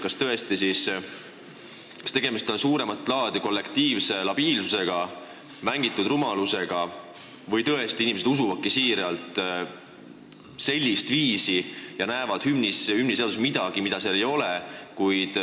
Kas tegemist on suuremat laadi kollektiivse labiilsusega, mängitud rumalusega või inimesed tõesti usuvadki siiralt ja näevad hümniseaduses midagi, mida seal ei ole?